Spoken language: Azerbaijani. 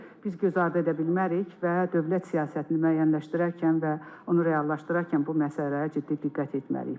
biz gözardı edə bilmərik və dövlət siyasətini müəyyənləşdirərkən və onu reallaşdırarkən bu məsələyə ciddi diqqət etməliyik.